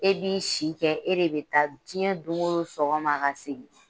E b'i si kɛ e de bɛ taa diɲɛ don o don sɔgɔma ka segin